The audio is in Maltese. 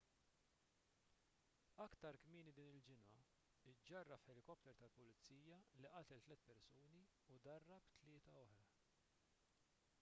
aktar kmieni din il-ġimgħa iġġarraf ħelikopter tal-pulizija li qatel tliet persuni u darab tlieta oħra